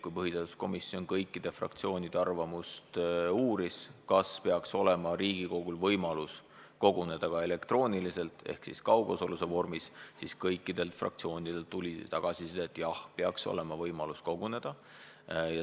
Kui põhiseaduskomisjon uuris kõikide fraktsioonide arvamust selle kohta, kas Riigikogul peaks olema võimalus koguneda ka elektrooniliselt ehk kaugosaluse vormis, siis tuli kõikidelt fraktsioonidelt tagasiside, et jah, peaks olema selline võimalus.